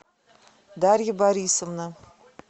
дарья борисовна